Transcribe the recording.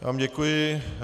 Já vám děkuji.